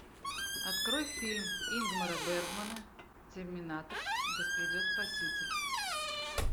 открой фильм ингмара бергмана терминатор да придет спаситель